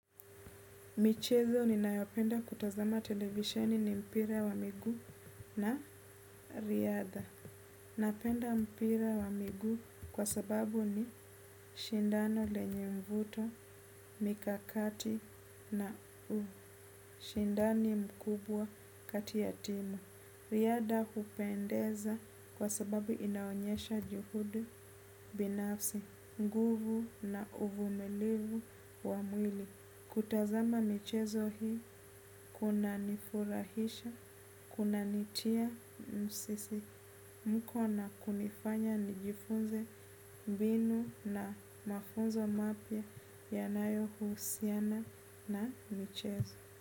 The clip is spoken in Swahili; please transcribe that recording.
Michezo ninayopenda kutazama televisheni ni mpira wa miguu na riadha. Napenda mpira wa miguu kwa sababu ni shindano lenye mvuto, mikakati na u. Ushindani mkubwa kati ya timu riadha hupendeza kwa sababu inaonyesha juhudi, binafsi, nguvu na uvumilivu wa mwili. Kutazama michezo hii, kunanifurahisha, kunanitia msisimko na kunifanya nijifunze mbinu na mafunzo mapya yanayohusiana na michezo.